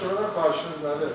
Məhkəmədən xahişiniz nədir?